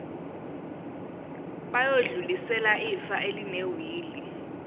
bayodlulisela ifa elinewili